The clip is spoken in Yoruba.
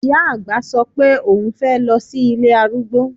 Ìyá àgbà sọ pé oùn fẹ́ lọ sí ilé arúgbó